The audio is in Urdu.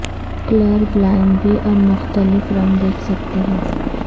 کلر بلائینڈ بھی اب مختلف رنگ دیکھ سکتے ہیں